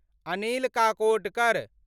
Anil Kakodkar